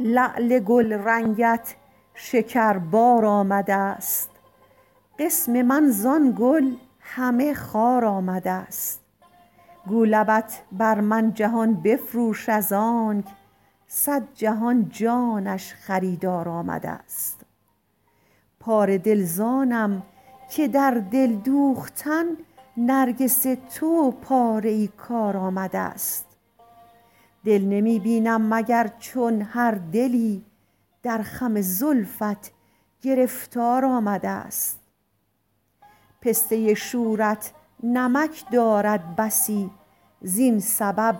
لعل گلرنگت شکربار آمدست قسم من زان گل همه خار آمدست گو لبت بر من جهان بفروش ازانک صد جهان جانش خریدار آمدست پاره دل زانم که در دل دوختن نرگس تو پاره ای کار آمدست دل نمی بینم مگر چون هر دلی در خم زلفت گرفتار آمدست پسته شورت نمک دارد بسی زین سبب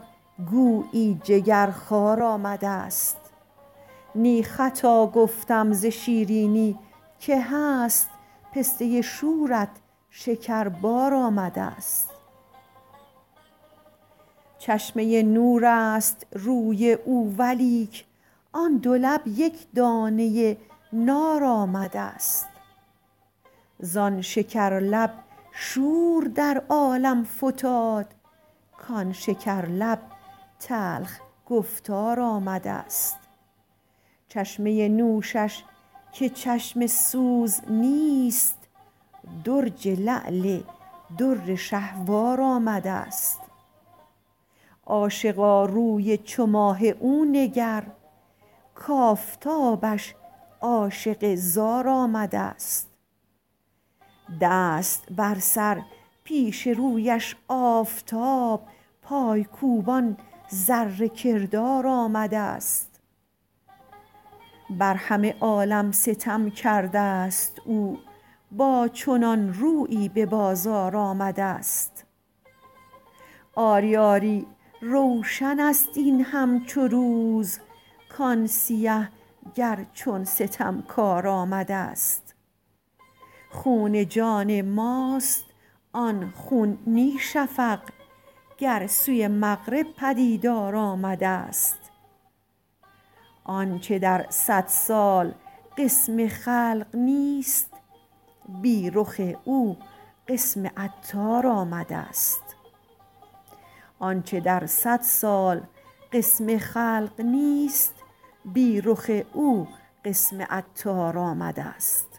گویی جگر خوار آمدست نی خطا گفتم ز شیرینی که هست پسته شورت شکربار آمدست چشمه نور است روی او ولیک آن دو لب یک دانه نار آمدست زان شکر لب شور در عالم فتاد کان شکر لب تلخ گفتار آمدست چشمه نوشش که چشم سوز نیست درج لعل در شهوار آمدست عاشقا روی چو ماه او نگر کافتابش عاشق زار آمدست دست بر سر پیش رویش آفتاب پای کوبان ذره کردار آمدست بر همه عالم ستم کردست او با چنان رویی به بازار آمدست آری آری روشن است این همچو روز کان سیه گر چون ستمکار آمدست خون جان ماست آن خون نی شفق گر سوی مغرب پدیدار آمدست آنچه در صد سال قسم خلق نیست بی رخ او قسم عطار آمدست